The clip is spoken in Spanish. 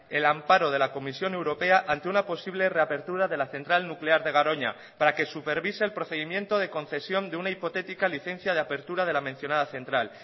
el amparo de la comisión europea ante una posible reapertura de la central nuclear de garoña para que supervise el procedimiento de concesión de una hipotética licencia de apertura de la mencionada central